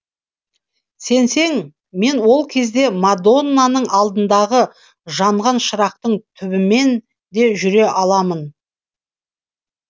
сенсең мен ол кезде мадоннаның алдындағы жанған шырақтың түбімен де жүре аламын